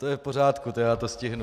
To je v pořádku, já to stihnu.